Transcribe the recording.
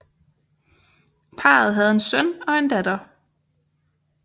Parret havde en søn og en datter